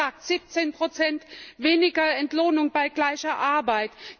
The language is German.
Es wurde gesagt 17 weniger Entlohnung bei gleicher Arbeit.